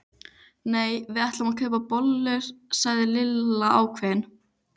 Nei, við ætlum að kaupa bollur sagði Lilla ákveðin.